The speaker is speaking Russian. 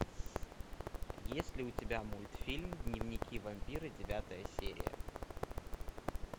есть ли у тебя мультфильм дневники вампира девятая серия